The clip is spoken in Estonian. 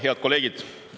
Head kolleegid!